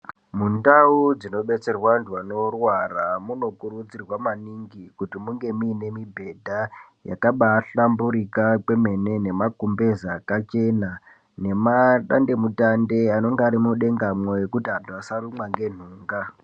Mundau dzinobetserwe antu anorwara munokurudzirwa maningi kuti munge muine mibhedha dzakabaahlamburika kwemene, nemagumbeze akachena, nemadande mutande anenge ari mudengamwo ,ekuti anhu asarumwa ngenhunga.